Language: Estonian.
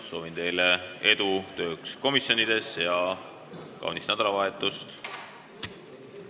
Soovin teile edu komisjonide töös ja kaunist nädalavahetust!